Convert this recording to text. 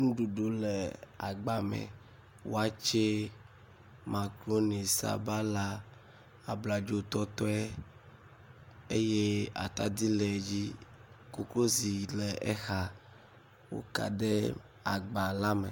ŋuɖuɖu le agba me wɔtsɛ makroni sabala abladzo tɔtɔe eye atadi le dzi koklozi lɛ exa woka ɖe agba ka me